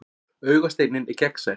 Augasteinninn er gegnsær.